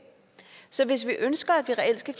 så hvis vi ønsker at det reelt skal